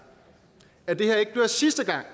at det her ikke bliver sidste gang